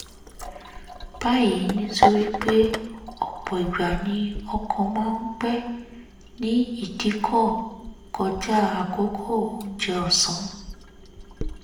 báyìí nítorí pé ọ̀pọ̀ ìgbà ni ọkọ̀ máa ń pẹ́ nídìíkọ̀ kọjá àkókò oúnjẹ ọ̀sán